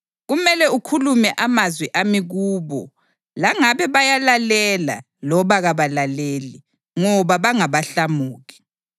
Kumele ukhulume amazwi ami kubo langabe bayalalela loba kabalaleli, ngoba bangabahlamuki.